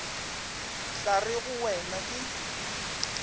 tla re go wena ke